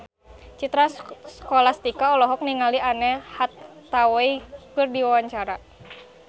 Citra Scholastika olohok ningali Anne Hathaway keur diwawancara